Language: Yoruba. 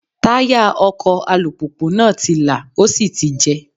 Táyà ọkọ̀ alùpùpù náà ti lá, ó sì ti jẹ́.